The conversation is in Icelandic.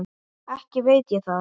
Ekki veit ég það.